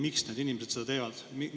Miks need inimesed seda teevad?